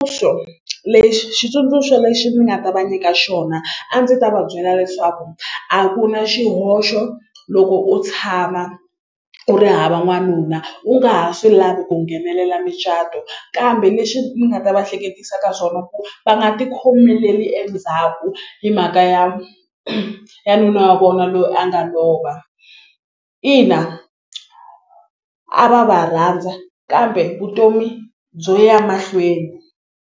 lexi xitsundzuxo lexi ni nga ta va nyika xona a ndzi ta va byela leswaku a ku na xihoxo loko u tshama u ri hava n'wanuna u nga ha swi lavi ku nghenelela mucato kambe lexi ni nga ta va hleketisa ka swona ku va nga ti khomeleli endzhaku hi mhaka ya ya nuna wa vona loyi a nga lova ina a va va rhandza kambe vutomi byo ya mahlweni.